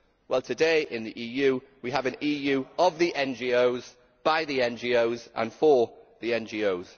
Well, today in the EU, we have an EU of the NGOs, by the NGOs and for the NGOs.